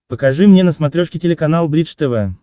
покажи мне на смотрешке телеканал бридж тв